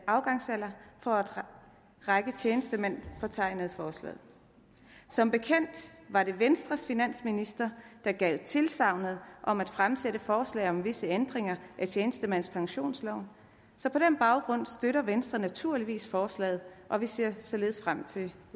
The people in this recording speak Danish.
afgangsalder for en række tjenestemænd optegnet i forslaget som bekendt var det venstres finansminister der gav tilsagn om at fremsætte forslag om visse ændringer af tjenestemandspensionsloven så på den baggrund støtter venstre naturligvis forslaget og vi ser således frem til